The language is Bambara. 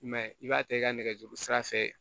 I m'a ye i b'a ta i ka nɛgɛjuru sira fɛ